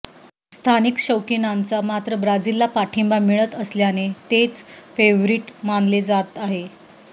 स्थानिक शौकिनांचा मात्र ब्राझीलला पाठिंबा मिळत असल्याने तेच फेव्हरिट मानले जात आहे